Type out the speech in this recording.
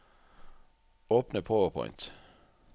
Åpne PowerPoint